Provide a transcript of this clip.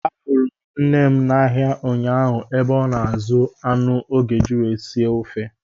I’m preparing Ogbono soup for the King’s visit.